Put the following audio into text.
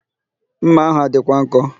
Ḿmà ahụ a dịkwa nkọ?